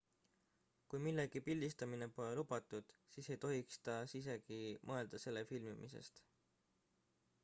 kui millegi pildistamine pole lubatud siis ei tohiks te isegi mõelda selle filmimisest